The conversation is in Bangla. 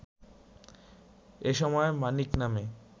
এসময় মানিক নামে